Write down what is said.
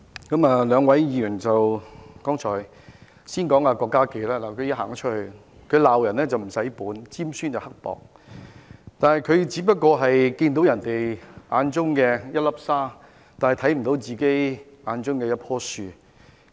我先談談現在已離席的郭家麒議員，他"鬧人唔使本"，尖酸刻薄；他的眼中只看到別人的一粒沙，卻看不見自己的一棵樹。